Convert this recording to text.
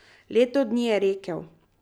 Leto dni, je rekel.